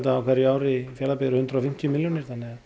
á hverju ári eru hundrað og fimmtíu milljónir